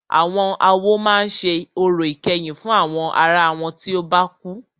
Àwọn awo máà ṣe orò ìkẹyìn fún àwọn ará wọn tí o bá kú.